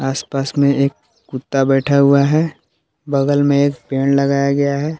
आसपास में एक कुत्ता बैठा हुआ है बगल में एक पेड़ लगाया गया है।